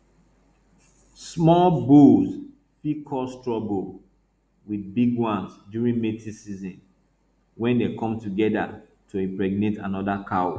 small bulls fit cause trouble with big ones during mating season when they come together to impregnate another cow